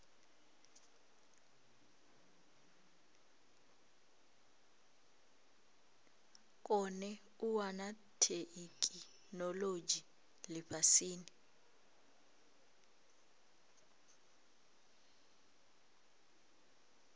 kone u wana theikinolodzhi lifhasini